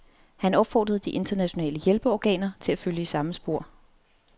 Han opfordrede de internationale hjælpeorganer til at følge i samme spor.